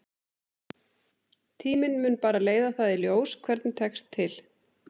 Tíminn mun bara leiða það í ljós hvernig tekst til.